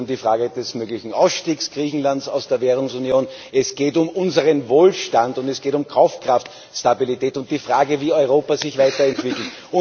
Es geht um die Frage des möglichen Ausstiegs Griechenlands aus der Währungsunion, es geht um unseren Wohlstand, und es geht um Kaufkraftstabilität und die Frage, wie Europa sich weiter entwickelt.